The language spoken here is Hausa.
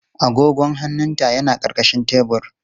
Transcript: Agogon hannunta yana ƙarƙashin tebur.